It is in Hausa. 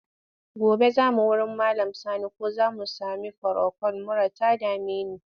Gobe za mu wurin Malam Sani ko za mu sami furokol, mura ta dame ni.